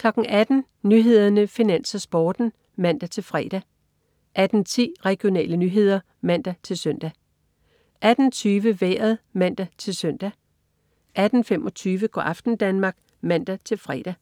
18.00 Nyhederne, Finans, Sporten (man-fre) 18.10 Regionale nyheder (man-søn) 18.20 Vejret (man-søn) 18.25 Go' aften Danmark (man-fre)